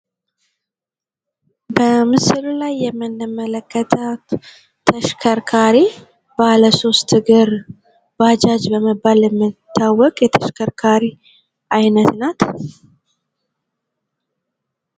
በምስሉ ላይ የምንመለከታት ተሽከርካሪ ባለ ሶስት እግር ባጃጅ በመባል የምትታወቅ የተሽከርካሪ አይነት ናት።